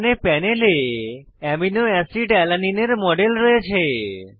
এখানে প্যানেলে amino acid alanine এর মডেল রয়েছে